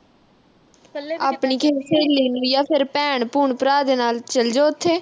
ਆਪਣੀ ਕੋਈ ਸਹੇਲੀ ਨੂੰ ਜਾਂ ਫਿਰ ਭੈਣ-ਭੂਣ, ਭਰਾ ਦੇ ਨਾਲ ਚਲ ਜਾ ਉਥੇ।